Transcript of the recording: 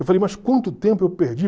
Eu falei, mas quanto tempo eu perdi?